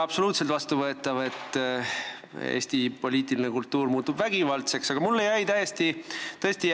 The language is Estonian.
See, et Eesti poliitiline kultuur muutub vägivaldseks, ei ole absoluutselt vastuvõetav.